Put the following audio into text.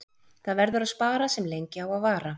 Það verður að spara sem lengi á að vara.